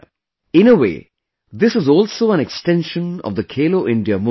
In a way, this is also an extension of the Khelo India Movement